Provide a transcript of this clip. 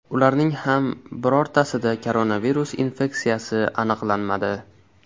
Ularning ham birortasida koronavirus infeksiyasi aniqlanmadi.